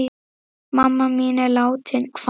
Mamma mín er látin.